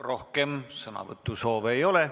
Rohkem sõnavõtusoove ei ole.